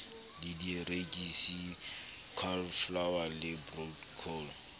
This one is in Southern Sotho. le dierekisi cauliflower le broccoli